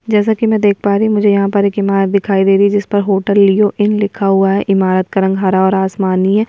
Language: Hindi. जैसा कि मैं देख पा रही हूं मुझे यहां पर इमारत दिखाई दे रही है जिस पर होटल लिओ इन लिखा हुआ है इमारत का रंग हरा और आसमानी है।